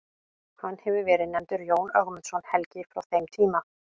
Hefur hann verið nefndur Jón Ögmundsson helgi frá þeim tíma.